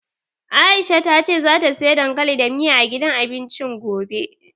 Aisha ta ce zata siya dankali da miya, a gidan abincin gobe.